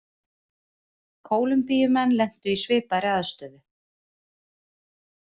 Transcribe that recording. Kólumbíumenn lentu í svipaðri aðstöðu.